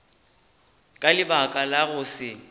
ka lebaka la go se